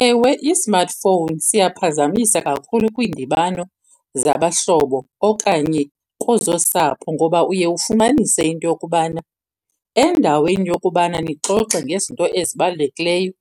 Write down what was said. Ewe i-smartphone siyaphazamisa kakhulu kwiindibano zabahlobo okanye kwezosapho ngoba uye ufumanise into yokubana endaweni yokubana nixoxe ngezinto ezibalulekileyo